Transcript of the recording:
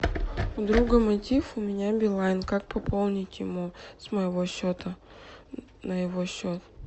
у друга мотив у меня билайн как пополнить ему с моего счета на его счет